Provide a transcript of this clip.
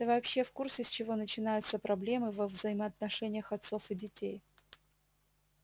ты вообще в курсе с чего начинаются проблемы во взаимоотношениях отцов и детей